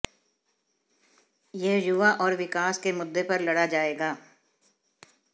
यह युवा और विकास के मुद्दे पर लड़ा जाएगा